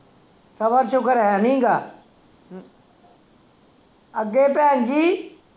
ਸਬਰ ਸ਼ੁਕਰ ਹੈਨੀ ਗਾ ਅੱਗੇ ਭੈਣਜੀ